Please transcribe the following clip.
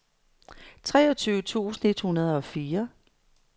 treogtyve tusind et hundrede og fire